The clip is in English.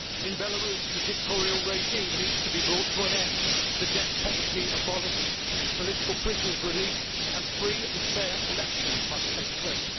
In Belarus the dictatorial regime needs to be brought to an end, the death penalty abolished, political prisoners released, and free and fair elections must take place.